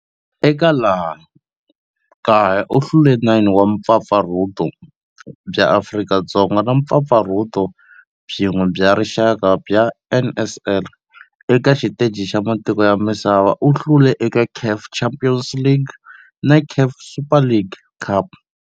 Eka laha kaya u hlule 9 wa vumpfampfarhuti bya Afrika-Dzonga na vumpfampfarhuti byin'we bya rixaka bya NSL. Eka xiteji xa matiko ya misava, u hlule eka CAF Champions League na CAF Super Cup.